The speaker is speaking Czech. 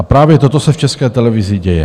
A právě toto se v České televizi děje.